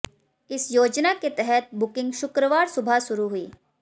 इस योजना के तहत बुकिंग शुक्रवार सुबह शुरू हुई